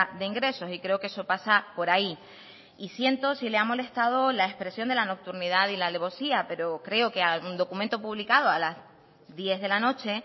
de ingresos y creo que eso pasa por ahí y siento si le ha molestado la expresión de la nocturnidad y la alevosía pero creo que hay un documento publicado a las diez de la noche